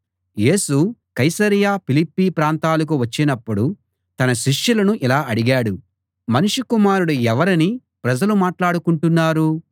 యేసు కైసరయ ఫిలిప్పీ ప్రాంతాలకు వచ్చినపుడు తన శిష్యులను ఇలా అడిగాడు మనుష్య కుమారుడు ఎవరని ప్రజలు మాట్లాడుకుంటున్నారు